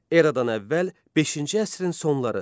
Eradan əvvəl 5-ci əsrin sonları.